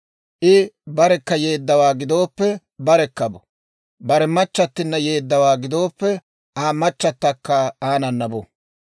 I barekka yeeddawaa gidooppe barekka bo; bare machchattina yeeddawaa gidooppe, Aa machatakka aanana bu.